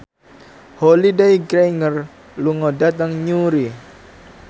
Holliday Grainger lunga dhateng Newry